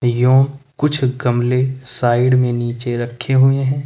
यों कुछ गमले साइड में नीचे रखे हुए हैं।